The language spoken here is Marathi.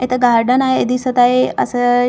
इथं गार्डन आहे दिसत आहे असं हिरवेगा --